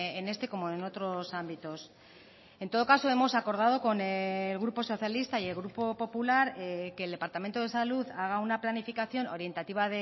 en este como en otros ámbitos en todo caso hemos acordado con el grupo socialista y el grupo popular que el departamento de salud haga una planificación orientativa